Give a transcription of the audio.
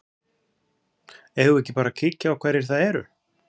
Eigum við ekki bara að kíkja á hverjir það eru?